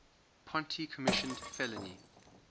ponti commissioned fellini